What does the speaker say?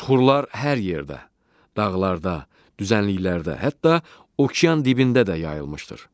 Suxurlar hər yerdə, dağlarda, düzənliklərdə, hətta okean dibində də yayılmışdır.